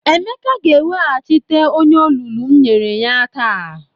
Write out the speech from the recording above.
Emeka ga-eweghachite onye olulu m nyere ya taa.